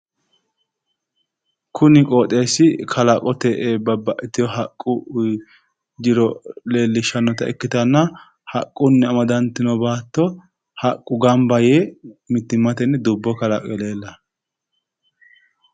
Kuni qooxeessi kalaqote babbaxxitiwo haqqu jiro leellishshannota ikkitanna haqqunni amadantino baatto haqqu gamba yee mittimmatenni dubbo kalaqe leellanno.